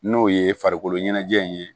N'o ye farikolo ɲɛnajɛ in ye